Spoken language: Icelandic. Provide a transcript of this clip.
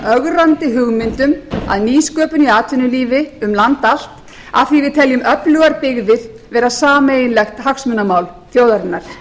ögrandi hugmyndum að nýsköpun í atvinnulífi um land allt af því að við teljum öflugar dyggðir vera sameiginlegt hagsmunamál þjóðarinnar